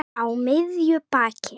Á miðju baki.